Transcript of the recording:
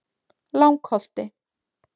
Langholti